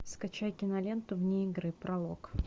скачай киноленту вне игры пролог